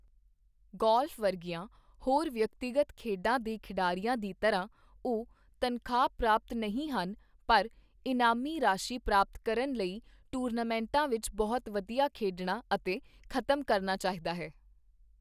Golf ਵਰਗੀਆਂ ਹੋਰ ਵਿਅਕਤੀਗਤ ਖੇਡਾਂ ਦੇ ਖਿਡਾਰੀਆਂ ਦੀ ਤਰ੍ਹਾਂ, ਉਹ ਤਨਖਾਹ ਪ੍ਰਾਪਤ ਨਹੀਂ ਹਨ, ਪਰ ਇਨਾਮੀ ਰਾਸ਼ੀ ਪ੍ਰਾਪਤ ਕਰਨ ਲਈ ਟੂਰਨਾਮੈਂਟਾਂ ਵਿੱਚ ਬਹੁਤ ਵਧੀਆ ਖੇਡਣਾ ਅਤੇ ਖ਼ਤਮ ਕਰਨਾ ਚਾਹੀਦਾ ਹੈ।